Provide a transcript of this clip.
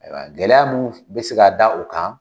Gɛlɛya mun bɛ se ka da o kan